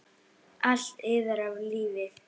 Allt iðar af lífi.